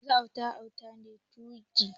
Yanzu kwata kwata a daina 2go.